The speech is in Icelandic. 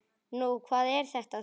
Nú, hvað er þetta þá?